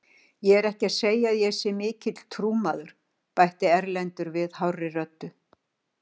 Ég er ekki að segja að ég sé mikill trúmaður, bætti Erlendur við hárri röddu.